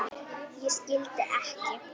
Ég skil ekki.